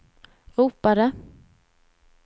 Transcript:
ropade